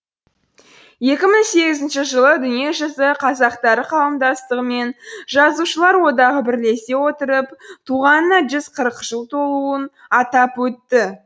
екі мың сегізінші жылы дүниежүзі қазақтары қауымдастығы мен жазушылар одағы бірлесе отырып туғанына жүз қырық жыл толуын атап өтті